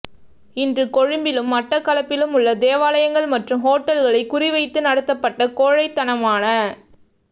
இன்று கொழும்பிலும் மட்டக்களப்பிலும் உள்ள தேவாலயங்கள் மற்றும் ஹோட்டல்களை குறிவைத்து நடத்தப்பட்ட கோழைத்தனமான